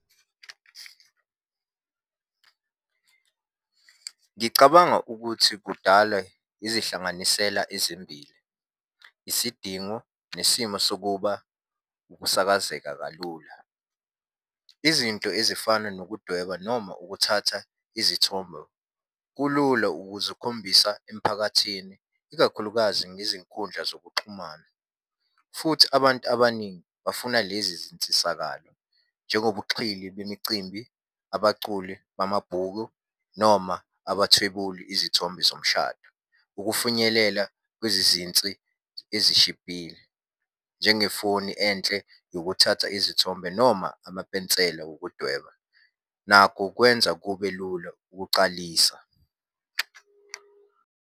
Ngicabanga ukuthi kudale izihlanganisela ezimbili, isidingo nesimo sokuba ukusakazeka kalula. Izinto ezifana nokudweba noma ukuthatha izithombo, kulula ukuze ukhombisa emphakathini, ikakhulukazi ngezinkundla zokuxhumana, futhi abantu abaningi bafuna lezi zinsisakalo, njengobuxhili bemicimbi, abaculi bamabhuku noma abathwebula izithombe zomshado. Ukufinyelela kwezizinsi ezishibhile, njengefoni enhle yokuthatha izithombe noma amapensela wokudweba. Nakho kwenza kube lula ukucalisa.